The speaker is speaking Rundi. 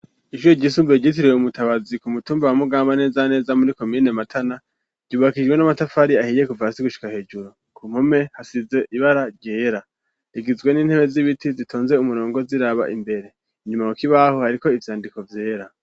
Ishuri ryisumbuye ryitiriwe umutabazi ku mutumba wa Mugamba neza neza muri komine Matana, ryubakishijwe n'amatafari ahiye kuva hasi gushika hejuru. Ku mpome hasize ibara ryera. Rigizwe n'intebe z'ibiti zitonze umurongo ziraba imbere. Inyuma ku kibaho hariko ivyandiko vyera.